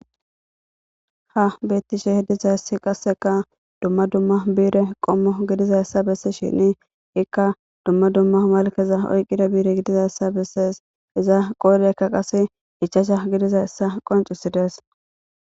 Ha beetishe dizayssi qassekka dumma dumma biire qommo gidizayssin ikka dumma dumma malkeza oyqida biire gidizayssa besees. Hiza qoodayakka qasse ichchasha gididayssa bessees.